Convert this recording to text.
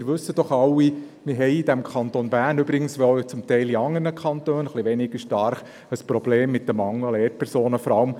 Wir wissen ja alle, dass wir im Kanton Bern – übrigens teilweise auch in anderen Kantonen, wenn auch vielleicht weniger ausgeprägt – ein Problem mit dem Mangel an Lehrpersonen haben.